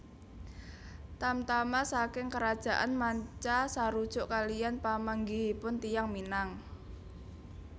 Tamtama saking karajaan manca sarujuk kaliyan pamanggihipun tiyang Minang